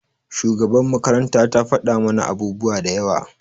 shugabar makaranta ta fada mana abubuwa da yawa.